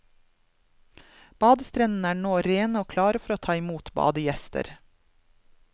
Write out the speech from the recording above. Badestrendene er nå rene og klare for å ta imot badegjester.